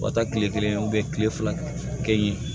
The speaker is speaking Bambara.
U ka taa kile kelen u be kile fila kɛ yen